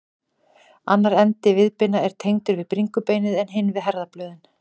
Annar endi viðbeina er tengdur við bringubeinið en hinn við herðablöðin.